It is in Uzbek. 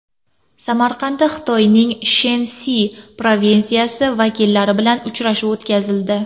Samarqandda Xitoyning Shensi provinsiyasi vakillari bilan uchrashuv o‘tkazildi.